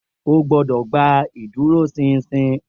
O gbọ́dọ̀ gba ìdúróṣinṣin